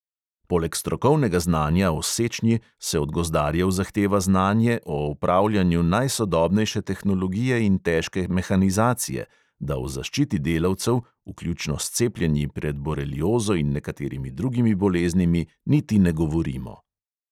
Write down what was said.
Poleg strokovnega znanja o sečnji se od gozdarjev zahteva znanje o upravljanju najsodobnejše tehnologije in težke mehanizacije, da o zaščiti delavcev, vključno s cepljenji pred boreliozo in nekaterimi drugimi boleznimi, niti ne govorimo.